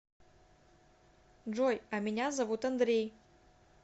джой а меня зовут андрей